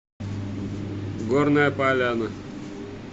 горная поляна